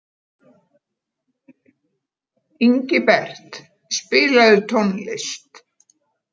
Ingibert, spilaðu tónlist.